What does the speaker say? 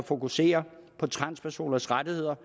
fokusere på transpersoners rettigheder